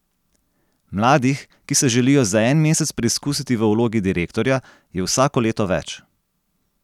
Mladih, ki se želijo za en mesec preizkusiti v vlogi direktorja, je vsako leto več.